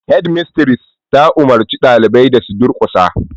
Hedimistires ta umurci ɗaliban da su durkusa.